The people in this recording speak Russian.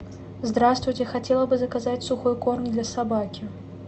здравствуйте хотела бы заказать сухой корм для собаки